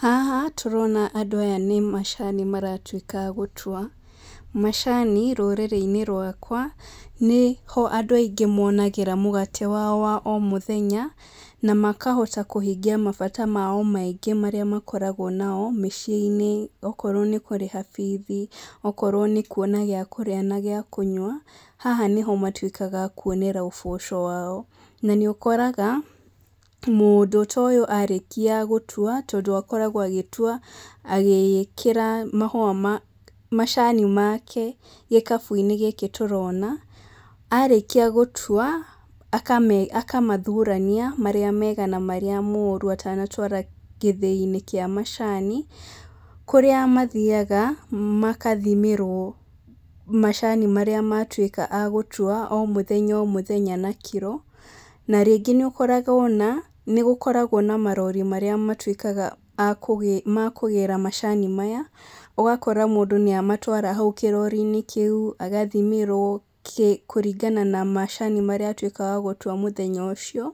Haha, tũrona andũ aya nĩmacani maratuĩka a gũtua, macani, rũrĩrĩinĩ rwakwa, nĩho andũ aingĩ monagĩra mũgate wao wa o mũthenya, na makahota kũhingia mabata mao maingĩ marĩa makoragwo namo mĩciĩnĩ okorwo nĩ kũrĩha bithi, okorwo nĩ kuona gĩa kũrĩa na gĩa kũnyua, haha nĩho matuĩkaga a kuonera ũboco wao, na nĩũkoraga, mũndũ tũ ũyũ arĩkia gũtua, tondũ akoragwo agĩtua agĩkĩraga mahũa ma macani make gĩkabuinĩ gĩkĩ tũrona, arĩkia gũtua, akame akamathurania, marĩa mega na marĩa moru atanatwara gĩthĩinĩ kĩa macani, kũrĩa mathiaga, makathimĩrwo macani marĩa matuĩka a gũtua o mũthenya o mũthenya na kiro, na rĩngĩ nĩũkoraga ona, nĩgũkoragwo na marori marĩa matuĩkaga a kũgĩ ma kũgĩra macani maya, ũgakora mũndũ nĩamatwara hau kĩrorinĩ kĩu, agathimĩrwo kĩ kũringana na macani marĩa atuĩka wa gũtua mũthenya ũcio,